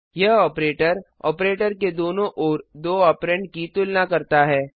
यह operator operator के दोनों ओर दो ऑपरेंड की तुलना करता है